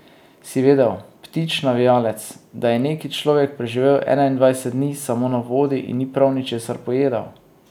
Si vedel, Ptič navijalec, da je neki človek preživel enaindvajset dni samo na vodi in ni prav ničesar pojedel?